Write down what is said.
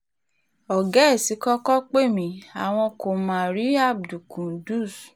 ọ̀gá ẹ̀ ti kọ́kọ́ pè mí pé àwọn kò má rí abdulqudus